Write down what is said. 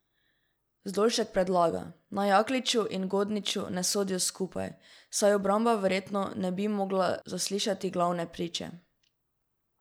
Zdolšek predlaga, naj Jakliču in Godniču ne sodijo skupaj, saj obramba verjetno ne bi mogla zaslišati glavne priče.